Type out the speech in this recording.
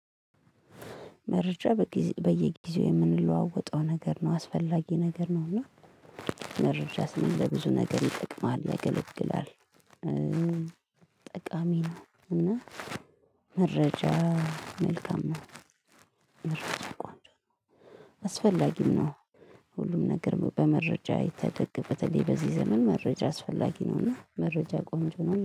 መረጃ በየጊዜው የምንለዋወጠው ነገር ነው አስፈላጊ ነገር ነው እና መረጃ ስንል ለብዙ ነገር ይጠቅማል ያገለግላል። ጠቃሚ ነው እና መረጃ መልካም መረጃ ቆንጆ አስፈላጊም ነው። ሁሉም ነገር በመረጃ የተደገፈ በተለይ በዚህ ዘመን መረጃ አስፈላጊ ነውና መረጃ ቆንጆ ነው